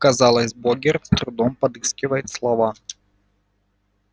казалось богерт с трудом подыскивает слова